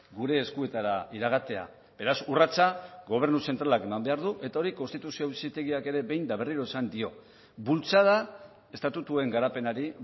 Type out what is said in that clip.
gure eskuetara iragatea beraz urratsa gobernu zentralak eman behar du eta hori konstituzio auzitegiak ere behin eta berriro esan dio bultzada estatutuen garapenari